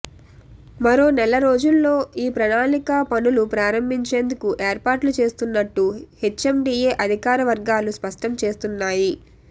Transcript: మరోనెల రోజుల్లో ఈ ప్రణాళిక పనులు ప్రారంభించేందుకు ఏర్పాట్లు చేస్తున్నట్టు హెచ్ఎండిఎ అధికార వర్గాలు స్పష్టం చేస్తున్నాయి